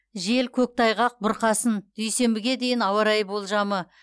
жел көктайғақ бұрқасын дүйсенбіге дейін ауа райы болжамы